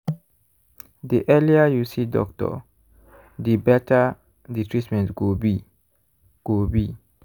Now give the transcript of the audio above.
the earlier you see doctor the better the treatment go be. go be.